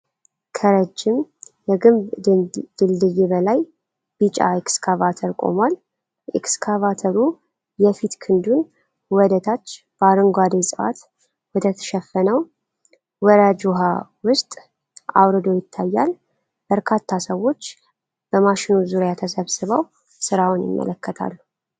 ከረጅም የግንብ ድልድይ በላይ ቢጫ ኤክስካቫተር ቆሟል። ኤክስካቫተሩ የፊት ክንዱን ወደታች በአረንጓዴ ዕፅዋት ወደተሸፈነው ወራጅ ውሃ ውስጥ አውርዶ ይታያል። በርካታ ሰዎች በማሽኑ ዙሪያ ተሰብስበው ስራውን ይመለከታሉ።